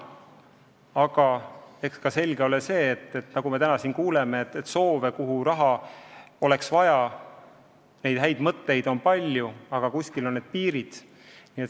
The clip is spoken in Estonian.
Samas on selge, et häid mõtteid ja soove, kuhu raha oleks vaja, on palju, aga kuskil on piirid.